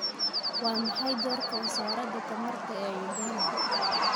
Waa maxay doorka wasaaradda tamarta ee Uganda?